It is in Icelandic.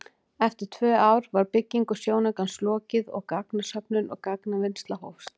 Eftir tvö ár var byggingu sjónaukans lokið og gagnasöfnun og gagnavinnsla hófst.